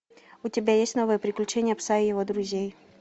у тебя есть новые приключения пса и его друзей